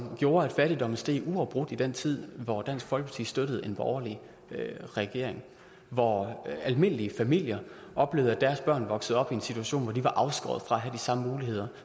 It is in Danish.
gjorde at fattigdommen steg uafbrudt i den tid hvor dansk folkeparti støttede en borgerlig regering og hvor almindelige familier oplevede at deres børn voksede op i en situation hvor de var afskåret fra at have de samme muligheder